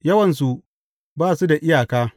Yawansu ba su da iyaka!